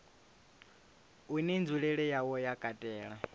une nzulele yawo ya katela